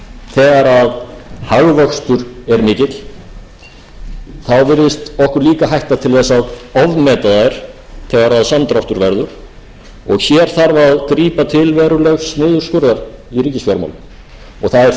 hagvöxtur er mikill þá virðist okkur líka hætta til þess að ofmeta þær þegar að samdráttur verður og hér þarf að grípa til verulegs niðurskurðar í ríkisfjármálum það er fagnaðarefni að heyra hversu viljug stjórnarandstaðan er til þess að ganga í